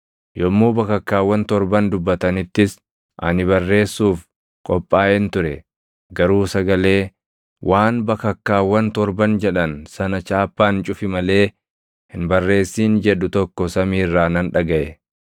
Yommuu bakakkaawwan torban dubbatanittis ani barreessuuf qophaaʼeen ture; garuu sagalee, “Waan bakakkaawwan torban jedhan sana chaappaan cufi malee hin barreessin” jedhu tokko samii irraa nan dhagaʼe.